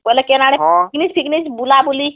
ବୋଇଲେ କେନ ଆଡେpicnic ଫିକନିକ ବୁଲାବୁଲି ହଁ